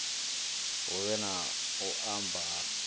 huvhe na u mba ha